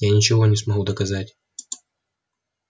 я ничего не смогу доказать